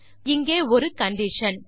பின் இங்கே ஒரு கண்டிஷன்